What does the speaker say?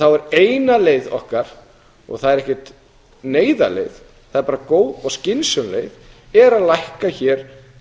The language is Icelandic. þá er eina leið okkar og það er ekkert neyðarleið það er bara góð og skynsöm leið er að lækka hér